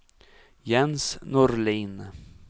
Jens Norlin